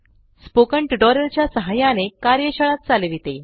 spoken tutorial च्या सहाय्याने कार्यशाळा चालविते